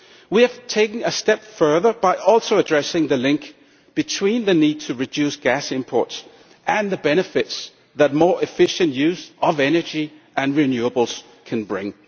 We have taken a step further by also addressing the link between the need to reduce gas imports and the benefits that more efficient use of energy and renewables can bring.